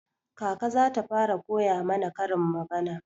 Kaka za ta fara koya mana karin magana.